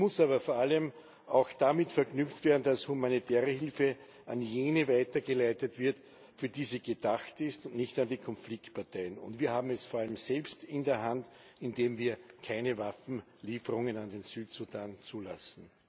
Sie muss aber vor allem auch damit verknüpft werden, dass humanitäre Hilfe an jene weitergeleitet wird, für die sie gedacht ist, und nicht an die Konfliktparteien. Wir haben das vor allem selbst in der Hand, indem wir keine Waffenlieferungen an den Südsudan zulassen.